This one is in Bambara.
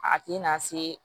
A ti na se